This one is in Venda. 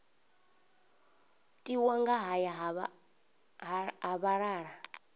tiwa nga haya ha vhalala